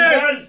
Gəl!